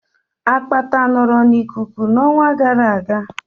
Akpata nọọrọ n'ikuku n'ọnwa gara aga